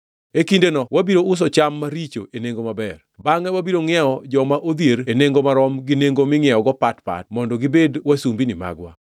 E kindeno wabiro uso cham maricho e nengo maber, bangʼe wabiro ngʼiewo joma odhier e nengo marom, gi nengo mingʼiewogo pat pat mondo gibed wasumbini magwa.”